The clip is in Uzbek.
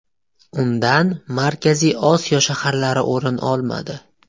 Undan Markaziy Osiyo shaharlari o‘rin olmadi.